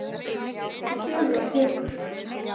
Það gefur og tekur.